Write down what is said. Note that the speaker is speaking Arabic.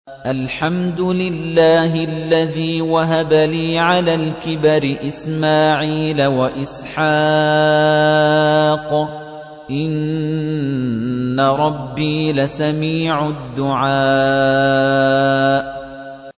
الْحَمْدُ لِلَّهِ الَّذِي وَهَبَ لِي عَلَى الْكِبَرِ إِسْمَاعِيلَ وَإِسْحَاقَ ۚ إِنَّ رَبِّي لَسَمِيعُ الدُّعَاءِ